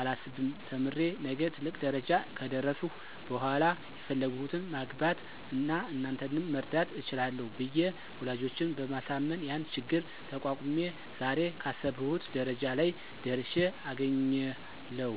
አላስብም ተምሬ ነገ ትልቅ ደረጃ ከደረስሁ በሇላ የፈለግሁትን ማግባት አና እናንተንም መርዳት እችላለሁ ብየ ወላጆቸን በማሳመን ያን ችግር ተቋቁሜ ዛሬ ካሰብሁት ደረጃ ላይ ደርሽ አገኛለሁ።